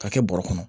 Ka kɛ bɔrɛ kɔnɔ